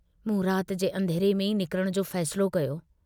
मूं रात जे अंधेरे में ई निकरण जो फ़ैसिलो कयो।